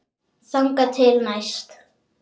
Þangað til næst.